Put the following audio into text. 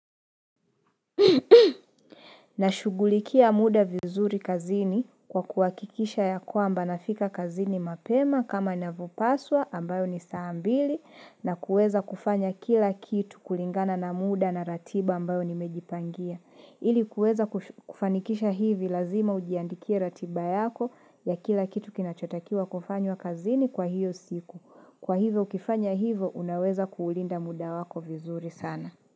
Nashugulikia muda vizuri kazini kwa kuhakikisha ya kwamba nafika kazini mapema kama inavyopaswa ambayo ni saa mbili na kuweza kufanya kila kitu kulingana na muda na ratiba ambayo nimejipangia. Ili kuweza kufanikisha hivi lazima ujiandikia ratiba yako ya kila kitu kinachotakiwa kufanywa kazini kwa hio siku. Kwa hivyo ukifanya hivyo unaweza kuulinda muda wako vizuri sana.